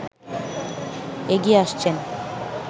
এগিয়ে আসছেন